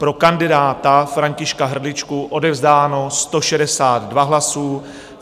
Pro kandidáta Františka Hrdličku odevzdáno 162 hlasů.